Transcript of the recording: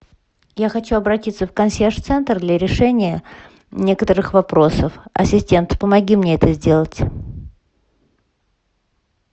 я хочу обратиться в консьерж центр для решения некоторых вопросов ассистент помоги мне это сделать